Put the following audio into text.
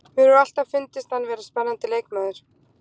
Mér hefur alltaf fundist hann vera spennandi leikmaður.